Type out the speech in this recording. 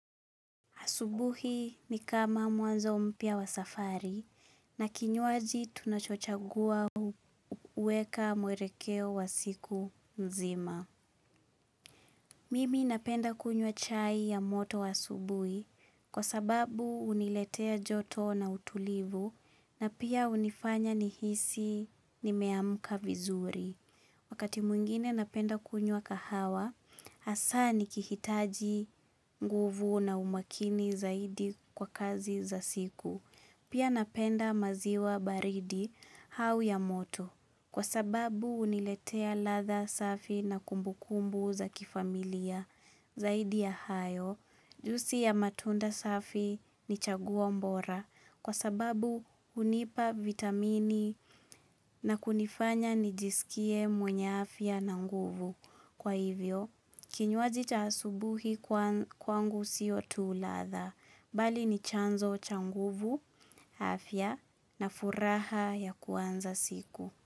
Asubuhi ni kama mwanzo mpya wa safari na kinywaji tunacho chagua huweka mwelekeo wa siku nzima. Mimi napenda kunywa chai ya moto wa asubuhi kwa sababu huniletea joto na utulivu na pia hunifanya nihisi nimeamka vizuri. Wakati mwingine napenda kunywa kahawa, hasa nikihitaji nguvu na umakini zaidi kwa kazi za siku. Pia napenda maziwa baridi au ya moto. Kwa sababu huniletea ladha safi na kumbukumbu za kifamilia zaidi ya hayo. Juisi ya matunda safi ni chaguo mbora. Kwa sababu hunipa vitamini na kunifanya nijisikie mwenye afya na nguvu. Kwa hivyo, kinywaji cha asubuhi kwangu siyo tu ladha. Bali ni chanzo cha nguvu, afya na furaha ya kuanza siku.